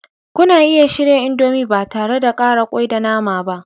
Kuna iya shirya indomie ba tare da ƙara kwai da nama ba.